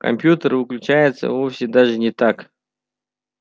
компьютер выключается вовсе даже не так